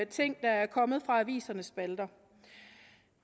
ting der er kommet fra avisernes spalter